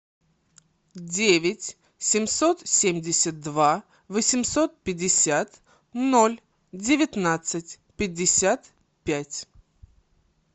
девять семьсот семьдесят два восемьсот пятьдесят ноль девятнадцать пятьдесят пять